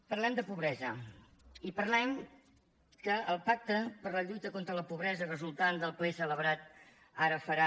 parlem de pobresa i parlem que el pacte per la lluita contra la pobresa resultant del ple celebrat ara farà